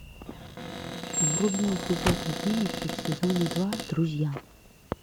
вруби эпизод одиннадцать сезон два друзья